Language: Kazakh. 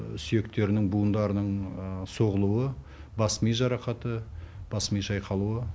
сүйектерінің буындарының соғылуы бас ми жарақаты бас ми шайқалуы